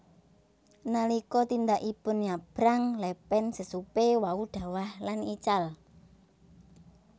Nalika tindakipun nyabrang lepen sesupe wau dhawah lan ical